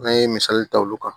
An ye misali ta olu kan